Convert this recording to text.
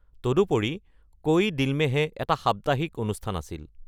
তদুপৰি, কোই দিল মে হে এখন সাপ্তাহিক অনুষ্ঠান আছিল।